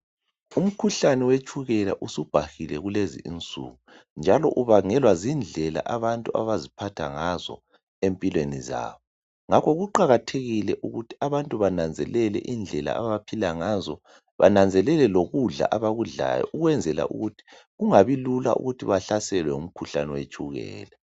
Umkhuhlane wetshukela usubhahile kulezinsuku njalo ubangelwa zindlela abantu abaziphathe ngazo empilweni zabo ngakho kuqakathekile ukuthi abantu bananzelele indlela abaphila ngazo bananzelele lokudla abakudlayo ukwenzela ukuthi kungabi lula ukuthi bahlaselwe ngumkhuhlane wetshukela.